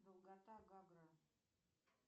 долгота гагра